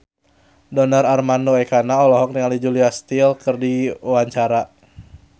Donar Armando Ekana olohok ningali Julia Stiles keur diwawancara